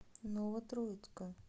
новотроицка